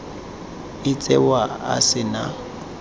o tsewa a se na